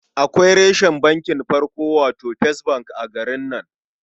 Akwai reshen bankin farko, wato first bank a garin nan.